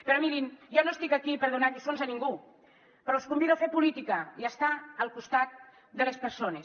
però mirin jo no estic aquí per donar lliçons a ningú però els convido a fer política i a estar al costat de les persones